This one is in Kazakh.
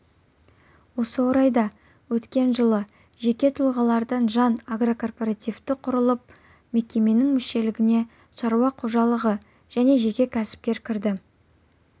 осы орайда өткен жылы жеке тұғалардан жан агрокооперативі құрылып мекеменің мүшелігіне шаруа қожалығы және жеке кәсіпкер кірді